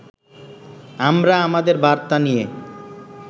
আমরা আমাদের বার্তা নিয়ে